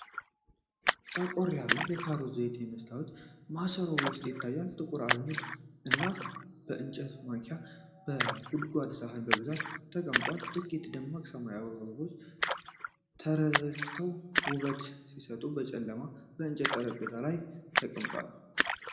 ጠቆር ያለ የካሮት ዘይት በመስታወት ማሰሮ ውስጥ ይታያል፤ ጥቁር አዝሙድ ደግሞ በእንጨት ማንኪያና በጎድጓዳ ሳህን በብዛት ተቀምጧል። ጥቂት ደማቅ ሰማያዊ አበቦች ተረጭተው ውበት ሲሰጡ፣ በጨለማ የእንጨት ጠረጴዛ ላይ ተቀምጧል።